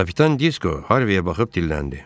Kapitan Disko Harveye baxıb dilləndi.